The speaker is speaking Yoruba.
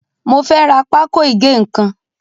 Mo fẹ́ rà pákó ìgé ń kan.